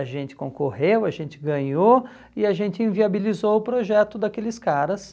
A gente concorreu, a gente ganhou, e a gente inviabilizou o projeto daqueles caras,